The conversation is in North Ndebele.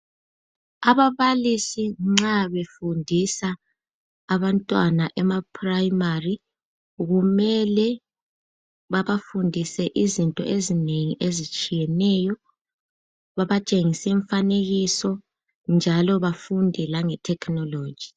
Ababalisi nxa befundisa abantwana emaprimary kumele babafundise izinto ezinengi ezitshiyeneyo .Babatshengise Imifanekiso njalo bafunde langethekhinoloji.